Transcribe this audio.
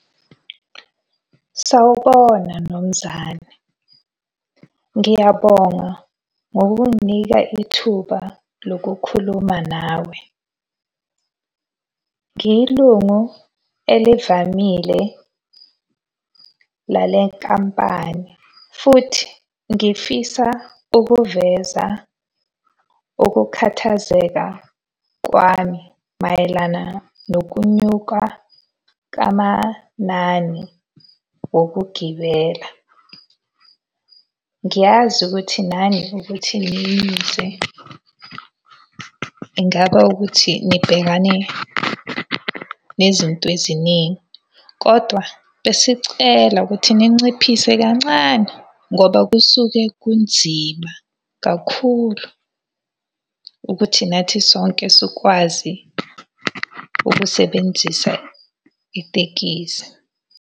Sawubona Mnomzane. Ngiyabonga ngokunginika ithuba lokukhuluma nawe. Ngiyilungu elivamile lale nkampani, futhi ngifisa ukuveza ukukhathazeka kwami mayelana nokunyuka kwamanani wokugibela. Ngiyazi ukuthi nani ukuthi niyize ingaba ukuthi nibhekane nezinto eziningi. Kodwa besicela ukuthi ninciphise kancane ngoba kusuke kunzima kakhulu ukuthi nathi sonke sikwazi ukusebenzisa itekisi.